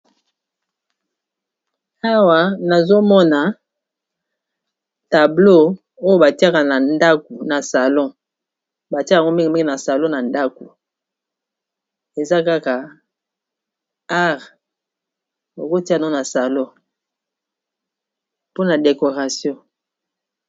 Awa nazomona tableau oyo batiaka na ndaku na salon batiaka yango mingi mingi na salon na ndaku eza kaka art bakotiyango na salon pona décoration.